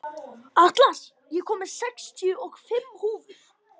Atlas, ég kom með sextíu og fimm húfur!